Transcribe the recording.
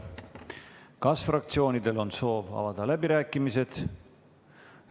Kas fraktsioonidel on soov avada läbirääkimised?